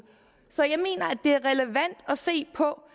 så jeg mener at se på